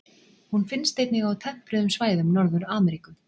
Hún finnst einnig á tempruðum svæðum Norður-Ameríku.